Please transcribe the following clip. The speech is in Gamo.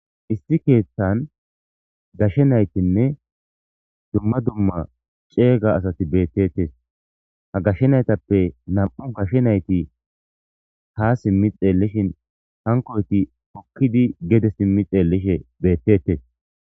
issi keeththan gashe naytinne dumma dumma ceega asati beettetes ha gashshe naytappe nam7u gashshe nayti ha simmi xeellishin hankoyti okkidi gede simmi xeellishe beettetes